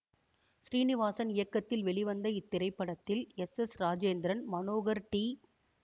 ஸ்ரீநிவாசன் இயக்கத்தில் வெளிவந்த இத்திரைப்படத்தில் S S Rajendran Manohar D